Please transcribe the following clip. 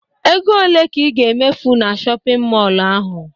Ego ole ka ị ga-emefu na shọpịn mọlụ ahụ?